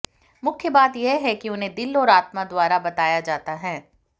मुख्य बात यह है कि उन्हें दिल और आत्मा द्वारा बताया जाता है